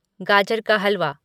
गाजर का हलवा